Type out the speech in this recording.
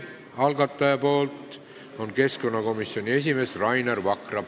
Algataja ettekandja on keskkonnakomisjoni esimees Rainer Vakra.